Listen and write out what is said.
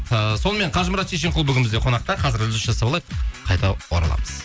ыыы сонымен қажымұрат шешенқұл бүгін бізде қонақта қазір үзіліс жасап алайық қайта ораламыз